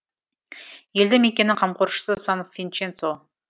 елді мекеннің қамқоршысы сан винченцо